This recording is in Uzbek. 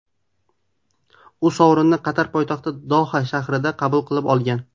U sovrinni Qatar poytaxti Doha shahrida qabul qilib olgan.